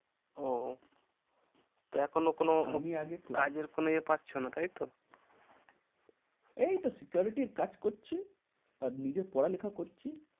ওহ তো এখনো কোনো আমি আগে কাজের কোনো এ পাচ্ছো না তাই তো? এই তো security র কাজ করছি। আর নিজের পড়ালেখা করছি।